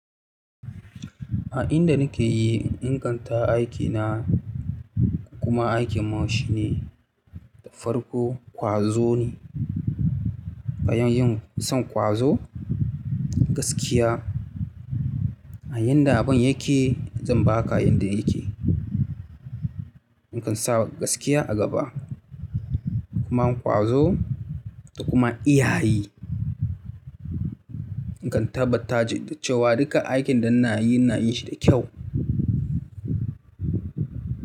A inda nake yi, inganta aikina kuma aikin mu shine farko kwazo ne. Bayan yin son kwazo, gaskiya a yanda abin yake zan baka yanda yake. Ni kan sa gaskiya a gaba, kuma kwazo da kuma iyayi. Ni kan tabbata da cewa duka aikin da ina yi, ina yi shi da kyau.